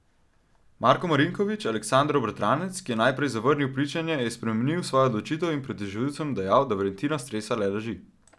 Marko Marinković, Aleksandrov bratranec, ki je najprej zavrnil pričanje, je spremenil svojo odločitev in pred tožilcem dejal, da Valentina stresa le laži.